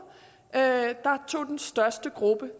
er